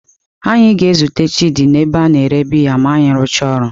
Anyị ga-ezute Chidi n'ebe a na-ere biya ma anyị rụchaa ọrụ.